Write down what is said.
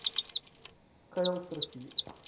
kuilsrivier